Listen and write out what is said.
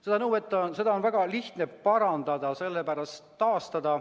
Seda olukorda on väga lihtne parandada.